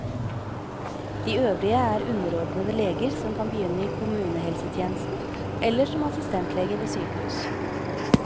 De øvrige er underordnede leger som kan begynne i kommunehelsetjenesten eller som assistentleger ved sykehus.